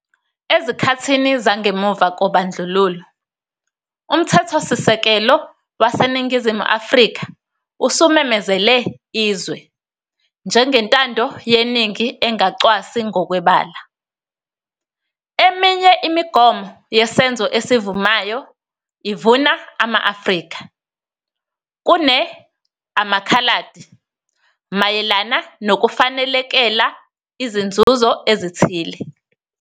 Ezikhathini zangemuva kobandlululo, uMthethosisekelo waseNingizimu Afrika usumemezele izwe "njengentando yeningi engacwasi ngokwebala". Eminye imigomo yesenzo esivumayo ivuna "ama-Afrika" kune "amaKhaladi" mayelana nokufanelekela izinzuzo ezithile.